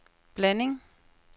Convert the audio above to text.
blanding